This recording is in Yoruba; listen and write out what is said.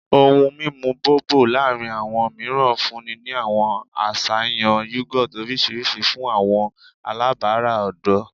Ohun mimu Bobo laarin awọn miiran funni ni awọn aṣayan yogurt oriṣiriṣi fun awọn alabara ọdọ